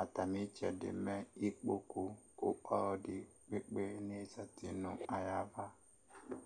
ata mi itsɛdi mɛ ikpoku ku ɔlɔdi ekpe ne zati nu ayi ava